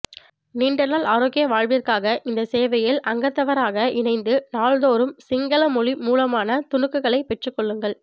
நீண்ட நாள் ஆரோக்கிய வாழ்விற்காக இந்த சேவையில் அங்கத்தவராக இணைந்து நாள்தோறும் சிங்கள மொழி மூலமான துணுக்குகளை பெற்றுகொள்ளுங்கள்